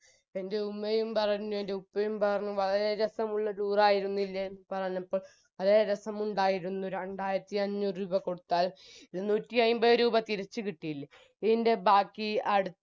എൻറെ ഉമ്മയും പറഞ്ഞു എൻറെ ഉപ്പയും പറഞ്ഞു വളരെ രസമുള്ള tour ആയിരുന്നില്ലേ എന്ന് പറഞ്ഞപ്പോൾ വളരെ രസമുണ്ടായിരുന്നു രണ്ടായിരത്തി അഞ്ഞൂറ് രൂപ കൊടുത്താൽ ഇരുന്നൂറ്റിയയിമ്പത് രൂപ തിരിച്ചുകിട്ടില്ലേ ഈൻറെ ബാക്കി അടു